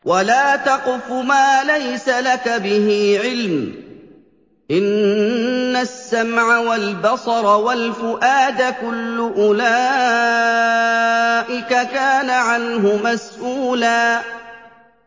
وَلَا تَقْفُ مَا لَيْسَ لَكَ بِهِ عِلْمٌ ۚ إِنَّ السَّمْعَ وَالْبَصَرَ وَالْفُؤَادَ كُلُّ أُولَٰئِكَ كَانَ عَنْهُ مَسْئُولًا